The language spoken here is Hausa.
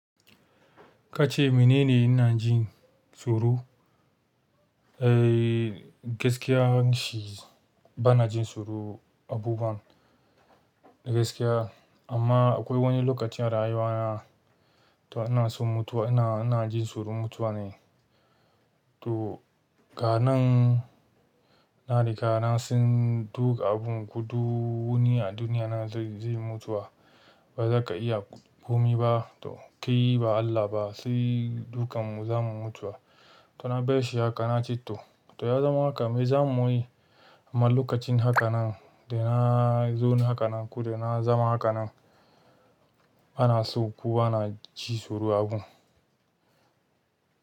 Ka ce mene ne ina jin tsoro? Eh gaskiya shi bana jin tsoro abubun, gaskiya. Amma akwai wani lokacin a rayuwa na to ina son mutuwa ina, ina jin tsoron mutuwa ne. To, ganan na riga na san duk abun gudu a duniya nan, zai mutu ba zaka iya gumi ba. To kai ba Allah ba sai dukanmu za mu mutu. To na baishe haka na ce to. To ya zama haka me za mu yi? Amma lokacin haka nan da na zon haka nan ko da na zama haka nan ana so ko ana ji tsoro abu.